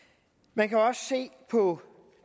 man kan også se på